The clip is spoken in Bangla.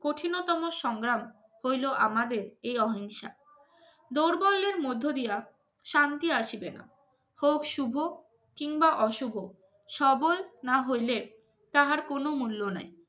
কঠিনতম সংগ্রাম হইল আমাদের এই অহিংসা দুর্বলের এর মধ্য দিয়া শান্তি আসবে না। হোক শুভ কিংবা অশুভ সবল নাহলে তাহার কোন মূল্য নাই